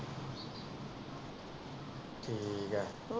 ਠੀਕ ਆ।